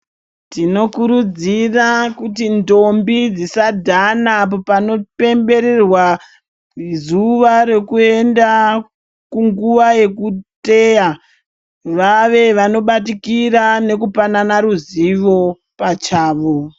Tinokurudzira kuti ndombidzisadhana panopembererwa zuwa rekuenda kunguwa yekuteya vave vanobatikira nekupanana ruzivo pachavo